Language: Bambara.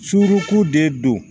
Surunku de don